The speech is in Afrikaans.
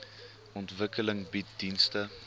ontwikkeling bied dienste